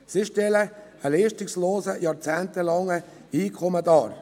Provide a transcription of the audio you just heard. Sie stellen ein leistungsloses, jahrzehntelanges Einkommen dar.